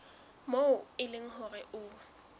moo e leng hore ho